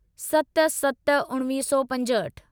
सत सत उणिवीह सौ पंजहठि